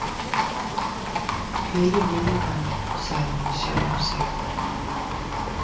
Ylur minninganna, sagði hún við sjálfa sig.